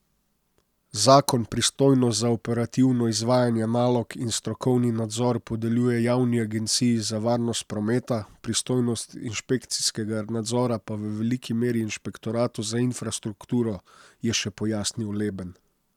Zakon pristojnost za operativno izvajanje nalog in strokovni nadzor podeljuje javni agenciji za varnost prometa, pristojnost inšpekcijskega nadzora pa v veliki meri inšpektoratu za infrastrukturo, je še pojasnil Leben.